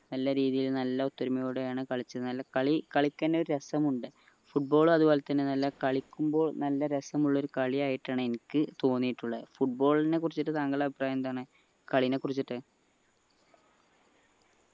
നല്ല രീതിയിൽ നല്ല ഒത്തൊരുമയോടെയാണ് കളിച്ചത് കളി കളിക്കന്നെ ഒരു രസമുണ്ട് football അതുപോലെതന്നെ നല്ല കളിക്കുമ്പോൾ നല്ല രസമുള്ള ഒരു കളിയായിട്ടാണ് എനിക്ക് തോന്നിയിട്ടുള്ളത് football നെ കുറിച്ചിട്ട് താങ്കളുടെ അഭിപ്രായം എന്താണ് കളിനെ കുറിച്ച്